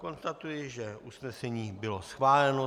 Konstatuji, že usnesení bylo schváleno.